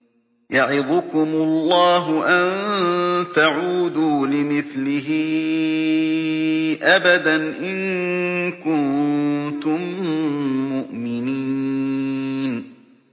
يَعِظُكُمُ اللَّهُ أَن تَعُودُوا لِمِثْلِهِ أَبَدًا إِن كُنتُم مُّؤْمِنِينَ